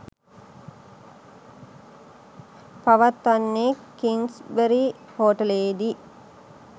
පවත්වන්නේ කිංස්බරි හෝටලයේදී.